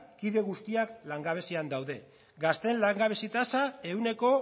kide guztiak langabezian daude gazteen langabezi tasa ehuneko